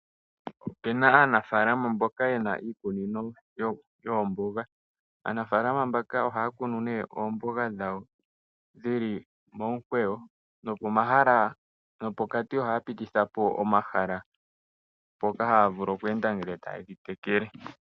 Opuna aanafaalama mboka yena iikunino yoomboga, aanafaalama mbaka ohaya kunu nee oomboga dhawo dhili momukweyo, no pokati ohaya pitithapo omahala , mpoka haya vulu , ngele ta yedhi tekele.